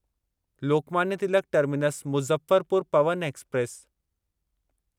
Lokmanya Tilak terminus Muzaffarpur Pawan express